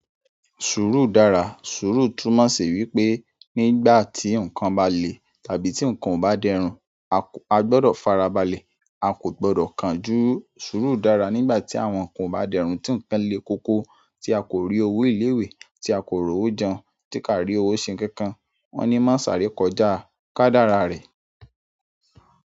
Sùúrù dára, sùúrù túmọ̀ sí wípé nígbà tí nǹkan bá le tàbí tí nǹkan ò bá dẹrùn a gbọdọ̀ farabalẹ̀, a kò gbọdọ̀ kánjú. Sùúrù dára nígbà tí àwọn nǹkan ò bá dẹrùn, tí nǹkan le koko, tí a kò rí owó ilé ìwé, tí a kò rí owó jẹun, tí ká rí owó ṣe nkankan. Wọ́n ní má sàrè kọjá, kádára rẹ̀.